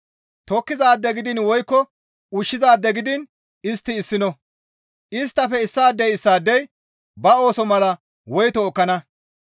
Tokkizaade gidiin woykko ushshizaade gidiin istti issino; isttafe issaadey issaadey ba ooso mala woyto ekkana.